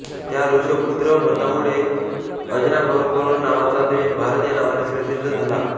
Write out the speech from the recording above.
त्या ऋषभपुत्र भरतामुळे अजनाभवर्ष नावाचा देश भारत या नावाने प्रसिद्ध झाला